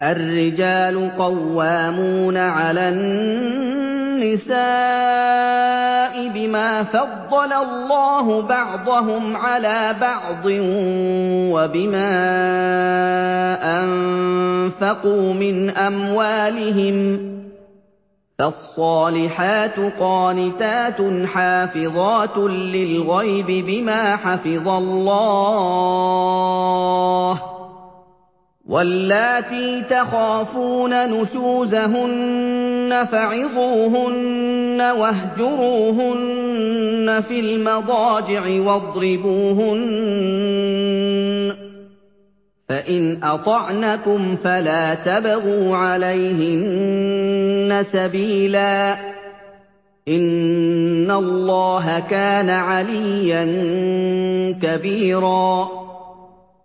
الرِّجَالُ قَوَّامُونَ عَلَى النِّسَاءِ بِمَا فَضَّلَ اللَّهُ بَعْضَهُمْ عَلَىٰ بَعْضٍ وَبِمَا أَنفَقُوا مِنْ أَمْوَالِهِمْ ۚ فَالصَّالِحَاتُ قَانِتَاتٌ حَافِظَاتٌ لِّلْغَيْبِ بِمَا حَفِظَ اللَّهُ ۚ وَاللَّاتِي تَخَافُونَ نُشُوزَهُنَّ فَعِظُوهُنَّ وَاهْجُرُوهُنَّ فِي الْمَضَاجِعِ وَاضْرِبُوهُنَّ ۖ فَإِنْ أَطَعْنَكُمْ فَلَا تَبْغُوا عَلَيْهِنَّ سَبِيلًا ۗ إِنَّ اللَّهَ كَانَ عَلِيًّا كَبِيرًا